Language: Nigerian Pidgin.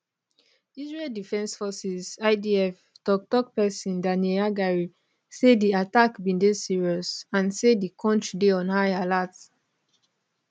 israel defense forces idf toktok pesin daniel haggari say di attack bin dey serious and say di kontri dey on high alert